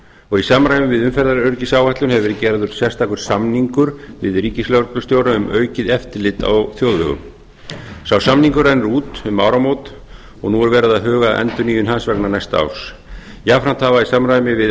og í samræmi við umferðaröryggisáætlun hefur verið gerður sérstakur samningur við ríkislögreglustjóra um aukið eftirlit á þjóðvegum sá samningur rennur út um áramót og nú er verið að huga að endurnýjun hans vegna næsta árs jafnframt hafa í samræmi við